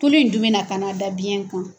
Tulu in dun bɛna taa na da biyɛn kan.